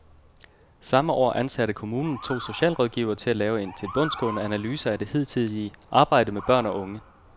Samme år ansatte kommunen to socialrådgivere til at lave en tilbundsgående analyse af det hidtidige arbejde med børn og unge.